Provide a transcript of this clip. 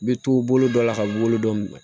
Bɛ to bolo dɔ la ka bolo dɔ minɛ